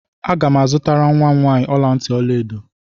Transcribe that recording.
Agam azutara nwam nwanyị ọla ntị ọla edo.